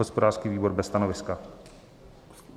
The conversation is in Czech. Hospodářský výbor: bez stanoviska.